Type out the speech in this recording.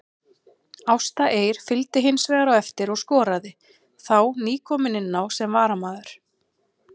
Ásta Eir fylgdi hinsvegar á eftir og skoraði, þá nýkomin inná sem varamaður.